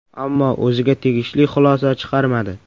Ammo o‘ziga tegishli xulosa chiqarmadi.